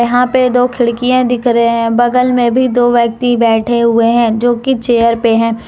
यहां पे दो खिड़कियें दिख रहे हैं बगल में भी दो व्यक्ति बैठे हुए हैं जो की चेयर पे हैं।